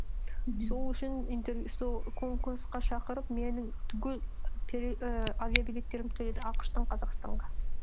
мхм сол үшін сол конкурсқа шақырып менің түгел і авиабилеттерімді төледі ақш тан қазақстанға